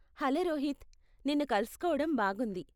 Hello Rohit, నిన్ను కలుసుకోవడం బాగుంది.